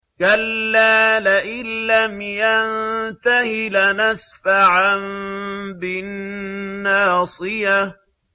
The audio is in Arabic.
كَلَّا لَئِن لَّمْ يَنتَهِ لَنَسْفَعًا بِالنَّاصِيَةِ